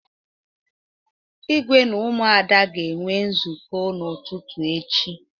Ígwé na Ụmụada ga-enwe nzukọ n'ụtụtụ echi.